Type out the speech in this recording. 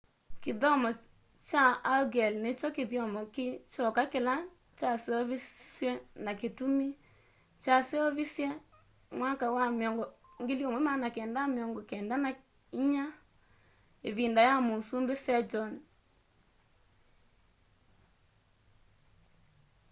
kithyomo kya hangeul ni kyo kithyomo ki kyoka kila kyaseuvisye na kitumi. kyaseuvisye mwaka wa 1444 ivinda ya musumbi sejong 1418-1450